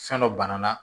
Fɛn dɔ banana